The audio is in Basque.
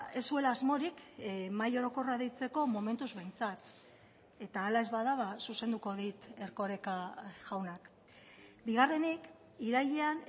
ez zuela asmorik mahai orokorra deitzeko momentuz behintzat eta hala ez bada zuzenduko dit erkoreka jaunak bigarrenik irailean